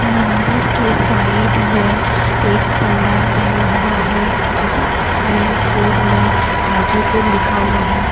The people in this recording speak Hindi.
मंदिर के साइड में एक पंडाल बना हुआ है जिसमें बोर्ड में हाजीपुर लिखा हुआ है।